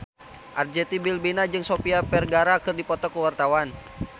Arzetti Bilbina jeung Sofia Vergara keur dipoto ku wartawan